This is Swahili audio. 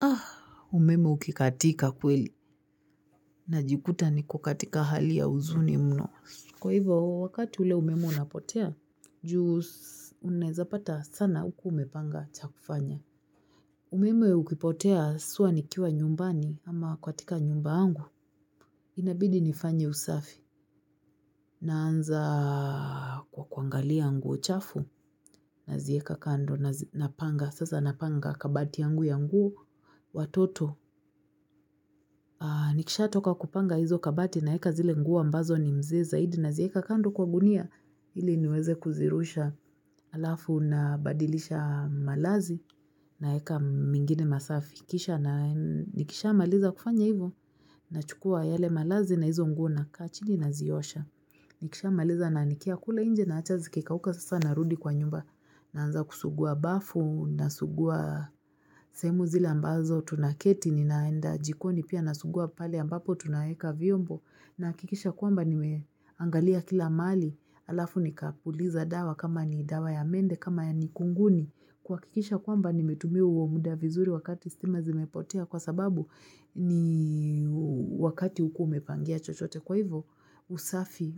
Ah, umeme ukikatika kweli, najikuta niko katika hali ya huzuni mno. Kwa hivo, wakati ule umeme unapotea, juu unaeza pata sana hukuaumepanga cha kufanya. Umeme ukipotea, swa nikiwa nyumbani, ama kukatika nyumba yangu, inabidi nifanye usafi. Naanza kwa kuangalia nguo chafu, nazieka kando, napanga, sasa napanga kabati yangu ya nguo, watoto. Nikishatoka kupanga hizo kabati naeka zile nguo ambazo ni mze zaidi nazieka kando kwa gunia Hili niweze kuzirusha alafu nabadilisha malazi naeka mingine masafi Nikishamaliza kufanya hivo nachukua yale malazi na hizo nguo naka chini naziosha Nikishamaliza naanikia kule inje naacha zikikauka sasa narudi kwa nyumba Naanza kusugua bafu, nasugua sehemu zile ambazo tunaketi, ninaenda jikoni pia nasugua pale ambapo tunaeka viombo nahakikisha kwamba nimeangalia kila mahali, alafu nikapuliza dawa kama ni dawa ya mende, kama ya nikunguni kuhakikisha kwamba nimetumia huo muda vizuri wakati stima zimepotea kwa sababu ni Wakati hukuwa umepangia chochote kwa hivo usafi